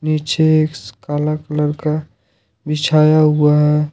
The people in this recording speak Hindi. नीचे एक काला कलर का बिछाया हुआ है।